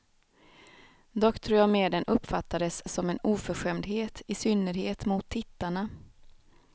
Dock tror jag mer den uppfattades som en oförskämdhet, i synnerhet mot tittarna.